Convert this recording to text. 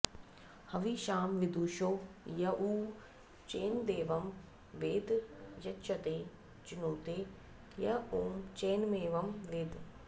हविषा॑ विदुषो॒ य उ॑ चैनदे॒वं वेद॒ य॑जते चिनुते॒ य उ॑ चैनमे॒वं वेद॑